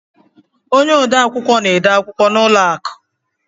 Ọnye ọde akwụkwọ na-ede akwụkwọ n' ụlọ akụ